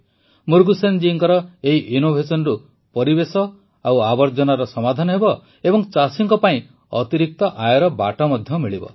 ମୁରୁଗେସନ ଜୀଙ୍କ ଏହି innovationରୁ ପରିବେଶ ଓ ଆବର୍ଜନାର ସମାଧାନ ହେବ ଏବଂ ଚାଷୀଙ୍କ ପାଇଁ ଅତିରିକ୍ତ ଆୟର ବାଟ ମଧ୍ୟ ମିଳିବ